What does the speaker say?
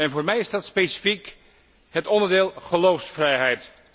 Voor mij is dat specifiek het onderdeel geloofsvrijheid.